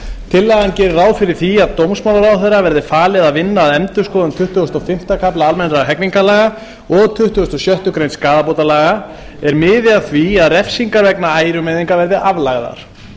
tillagan gerir ráð fyrir því að dómsmálaráðherra verði falið að vinna að endurskoðun tuttugasta og fimmta kafla almennra hegningarlaga og tuttugasta og sjöttu greinar skaðabótalaga er miði að því að refsingar vegna ærumeiðinga verði aflagðar